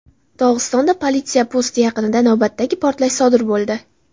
Dog‘istonda politsiya posti yaqinida navbatdagi portlash sodir bo‘ldi.